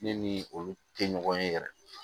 Ne ni olu tɛ ɲɔgɔn ye yɛrɛ